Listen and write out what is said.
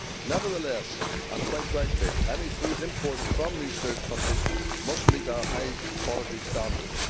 Nevertheless, and quite rightly, any food imported from these third countries must meet our high quality standards.